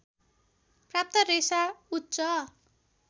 प्राप्त रेशा उच्च